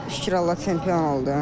Şükür Allah çempion oldum.